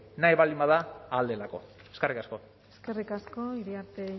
nahi baldin bada ahal delako eskerrik asko eskerrik asko iriarte